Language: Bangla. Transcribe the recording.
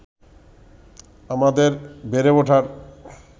আমাদের বেড়ে ওঠার